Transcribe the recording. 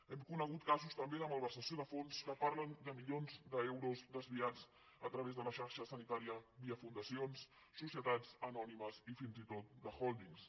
hem conegut casos també de malversació de fons que parlen de milions d’euros desviats a través de la xarxa sanitària via fundacions societats anònimes i fins i tot d’hòldings